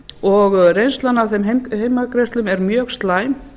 og reynslan af þeim heimgreiðslum er mjög slæm